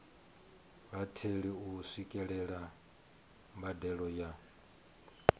vhatheli u swikelela mbadelo ya